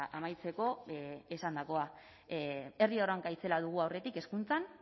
amaitzeko esandakoa herri erronka itzela dugu aurretik hezkuntzan